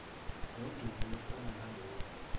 nodumo olufana nalolu